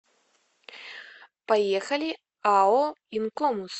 поехали ао инкомус